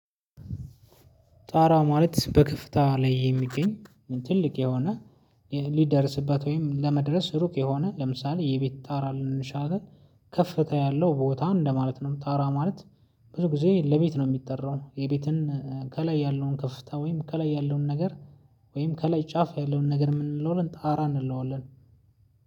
ጣራ ማለት በክፍታ ላይ የሚገኝ ትልቅ የሆነ ሊደርስበት ወይም ለመድረስ ሩቅ የሆነ ለምሳሌ የቤት ታራ ልንል እንችላለን ከፍታ ያለው ቦታ እንደማለት ነው። ታራ ማለት ብዙ ጊዜ ለቤት ነው ሚጠራው የቤትን ከላይ ያለውን ከፍታ ወይም ከላይ ያለውን ነገር ወይም ከላይ ጫፍ ያለውን ነገር ምንለዋለን ጣራ እንለዋለን።